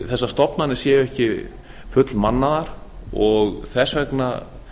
þessar stofnanir séu ekki fullmannaðar og þess vegna